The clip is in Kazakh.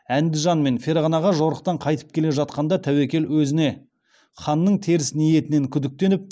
әндіжан мен ферғанаға жорықтан қайтып келе жатқанда тәуекел өзіне ханның теріс ниетінен күдіктеніп